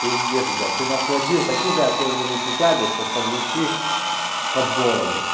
пиздец блять ты нас водил такими окольными путями чтобы подвести под бороду